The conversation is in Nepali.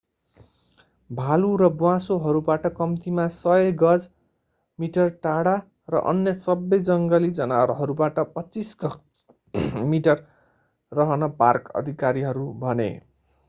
भालु र ब्वाँसोहरूबाट कम्तीमा 100 गज/ मिटर टाढा र अन्य सबै जङ्गली जनावरहरूबाट 25 गज/मिटर रहन पार्क अधिकारीहरू भने!